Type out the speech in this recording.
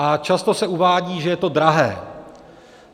A často se uvádí, že je to drahé.